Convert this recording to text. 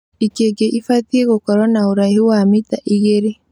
Ikĩngĩ ibatie gũkorwo na ũraihu wa mita igĩrĩ